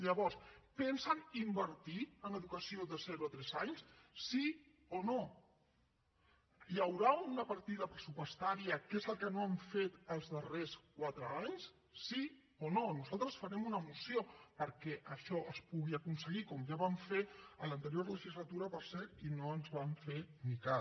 llavors pensen invertir en educació de zero a tres anys sí o no hi haurà una partida pressupostària que és el que no han fet els darrers quatre anys sí o no nosaltres farem una moció perquè això es pugui aconseguir com ja vam fer en l’anterior legislatura per cert i no ens van fer ni cas